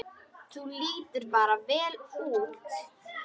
Þú lítur bara vel út!